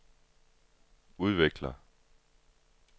udvikler